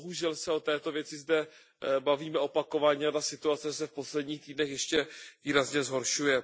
Bohužel se o této věci zde bavíme opakovaně a ta situace se v posledních týdnech ještě výrazně zhoršuje.